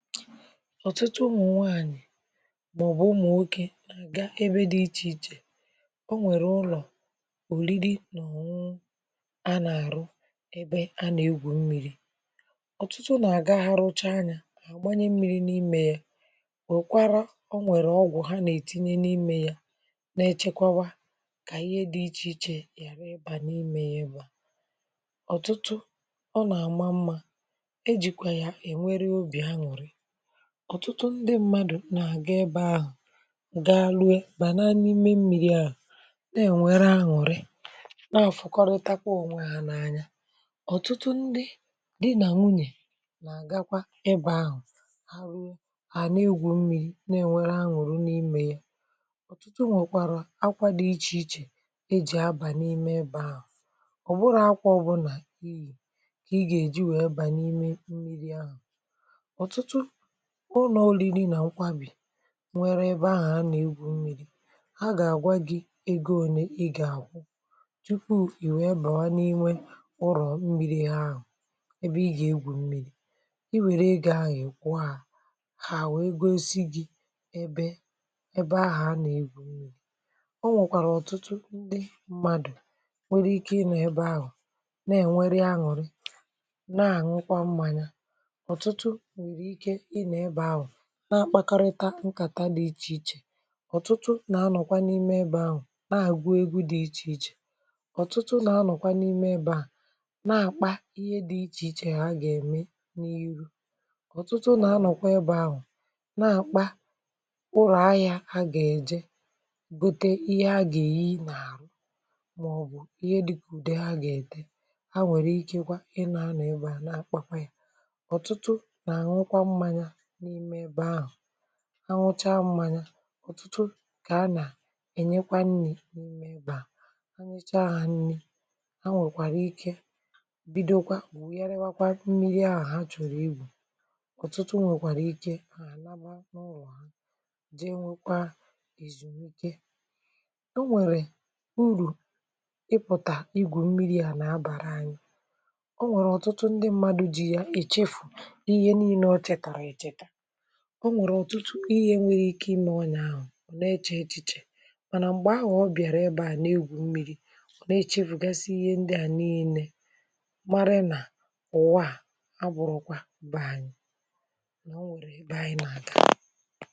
ọ̀tụtụ ụmụ̀ nwaànyị̀ màọ̀bụ̀ ụmụ̀ nwokė nà-agàà ebe dị iche iche, ọ nwèrè ụlọ̀ òrìrì nà ọnụ ọnụ a nà-àrụ, ebe a nà-egwù mmiri̇. ọ̀tụtụ nà-àga, hà rụchà ànyà, àgbanye mmiri̇ n’íme yà, wèkwàrà ọ nwèrè ọgwụ̀ hà nà-ètinye n’íme yà, na-echekwàrà kà ihe dị iche iche yàrà ịbà n’íme yà ba. ọ̀tụtụ ọ nà-àma mmȧ, e jìkwà yà ènwèrè ọbì ànùrị̀. ọ̀tụtụ ndị mmadụ̀ nà-àgà ebe ahụ̀, gaa rụọ, bà n’ime mmiri̇ àhụ̀, na-ènwere ànùrị̀, nà-àfụ̀kọrịta kwa onwė hà n’ànya. ọ̀tụtụ ndị di nà nwunyè nà-àgakwà ebe ahụ̀, hà rụọ, hà nà-egwù mmiri̇, na-ènwere ànùrị̀ n’íme yà. ọ̀tụtụ nwèkwàrà akwà dị iche iche e jì abà n’ime ebe ahụ̀, ọ̀ bụ́rù akwà ọbùna ịyì kà ị gà-èjì wèe abà n’ime mmiri̇ ahụ̀. ọ̀tụtụ ụ̀lọ̀ òrìrì nà nkwàwàbì nwèrè ebe ahụ̀ a nà-egwù mmiri̇, hà gà-àgwa gị egȯ, ònye ì gà-àkwù, tupu ì wé bàrà n’ímé ǹrọ̀ mmiri̇ àhụ̀, ebe ì gà-egwù̇ mmiri̇. ì wèrè egȯ àhụ̀, ì kwuo hà hà, hà wee gosi gị ebe ahù a nà-egwù̇ mmiri̇. ọ nwèkwàrà ọ̀tụtụ ndị mmadụ̀ nwèrè ike ịnọ̀ ebe àhụ̀, na-ènwerè ànùrị̀, nà-àñùkwa mmȧnyà. ọ̀tụtụ nwèrè ike ịnọ ebe ahụ̀ na-àkparịta nkàtà dị iche iche. ọ̀tụtụ nà-ànọ̀kwa n’ime ebe ahụ̀ na-àgụ egwu dị iche iche. ọ̀tụtụ nà-ànọ̀kwa n’ime ebe ahụ̀ na-àkpà ihe dị iche iche a gà-ème n’ihu. ọ̀tụtụ nà-ànọ̀kwa ebe ahụ̀ na-àkpà kpụrụ̀ ahịȧ a gà-èjè gòtè ihe a gà-èyi n’àhụ̀, màọ̀bụ̀ ihe dịkà ùde hà gà-ète. hà nwèrè ike kwa ịnọ̀ ebe ahụ̀ na-àkpà yà. ọ̀tụtụ nà-àñùkwa mmȧnyà n’ime ebe ahụ̀, ànwụchà mmȧnyà. ọ̀tụtụ kà a nà-ènyèkwà nri n’ime ebe ahụ̀, ènyèchá hà nri. hà nwèrèkwa ike bido kwa wugharịkwà mmiri̇ ahụ̀ hà chọ̀rò igwù. ọ̀tụtụ nwèkwàrà ike hà àlàbà n’ụlọ̀ hà, jee nwèkwàrà èzùmíkè. ọ nwèrè ùrù ị pụ̀tà igwù mmiri̇ à nà-abàrà anyị̇. ọ nwèrè ọ̀tụtụ ndị mmadụ ji yà èchefù ihe niile òchetara-echeta. ọ nwèrè ọ̀tụtụ ihe nwèrè ike imé ọnyà ahụ̀, ọ̀ nà-echė èchìchè. mà nà m̀gbè ahụ̀ ọ bịàrà ebe à n’egwù mmiri̇, ọ̀ nà-echė pụ̀gàsì ihe ndị à niile, mara nà ùwà à bụ̀rọkwà bàá anyị̇, nà ọ nwèrè ebe anyị̇ nà-àgà.